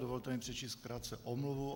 Dovolte mi přečíst krátce omluvu.